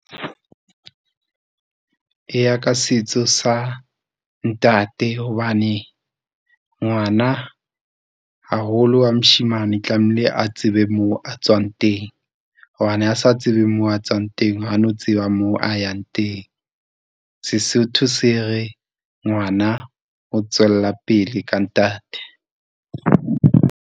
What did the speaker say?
Eya ka setso sa ntate hobane ngwana haholo wa moshemane tlamehile a tsebe moo a tswang teng. Hobane ha a sa tsebe moo a tswang teng ha a no tseba moo a yang teng. Sesotho se re ngwana o tswella pele ka ntate.